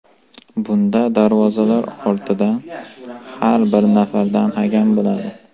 Bunda darvozalar ortida ham bir nafardan hakam bo‘ladi.